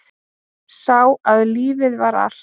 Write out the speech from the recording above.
Sá að lífið var allt.